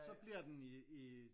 Så bliver den i i